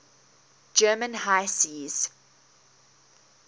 german high seas